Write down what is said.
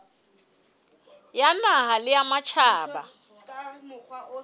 ya naha le ya matjhaba